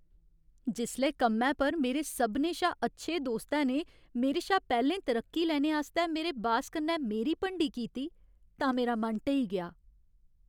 जिसलै कम्मै पर मेरे सभनें शा अच्छे दोस्तै ने मेरे शा पैह्लें तरक्की लैने आस्तै मेरे बास कन्नै मेरी भंडी कीती तां मेरा मन ढेई गेआ।